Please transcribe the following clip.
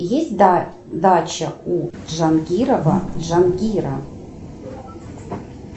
есть дача у джангирова джангира